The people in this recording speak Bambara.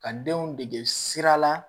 Ka denw dege sira la